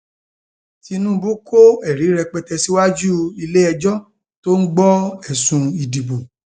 tinúbú kọ ẹrí rẹpẹtẹ síwájú iléẹjọ tó ń gbọ ẹsùn ìdìbò